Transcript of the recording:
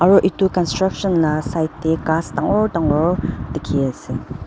aro itu construction lah side teh ghas dangor dangor dikhi ase.